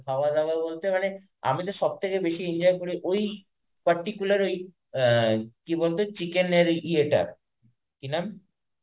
খাওয়া দাওয়া বলতে মানে আমি তো সবথেকে বেশি enjoy করি ওই particular ওই আ কি বলতো chicken এর ওই ইয়েটা, কি নাম?